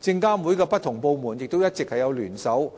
證監會的不同部門亦一直聯手